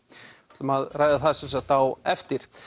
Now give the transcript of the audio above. ætlum að ræða það sem sagt á eftir